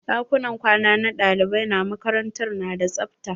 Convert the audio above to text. Ɗakunan kwana na ɗalibai na makarantar na da tsafta.